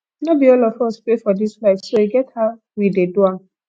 no be all of us pay for dis light so e get how we dey do am